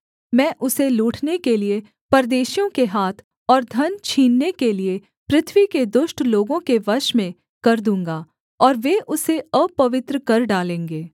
मैं उसे लूटने के लिये परदेशियों के हाथ और धन छीनने के लिये पृथ्वी के दुष्ट लोगों के वश में कर दूँगा और वे उसे अपवित्र कर डालेंगे